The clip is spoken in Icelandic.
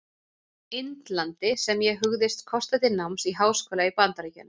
Indlandi, sem ég hugðist kosta til náms í háskóla í Bandaríkjunum.